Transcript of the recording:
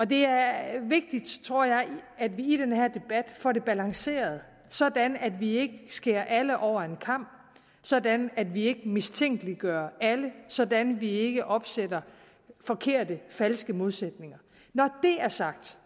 det er vigtigt at vi i den her debat får det balanceret sådan at vi ikke skærer alle over én kam sådan at vi ikke mistænkeliggør alle sådan at vi ikke opsætter forkerte falske modsætninger når det er sagt